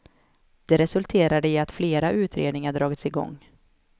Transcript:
Det resulterade i att flera utredningar dragits i gång.